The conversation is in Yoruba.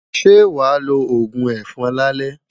Ṣé wàá lo òògùn ẹ̀fọn lálẹ́?